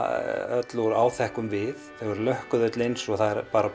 öll úr áþekkum við þau eru lökkuð öll eins og það er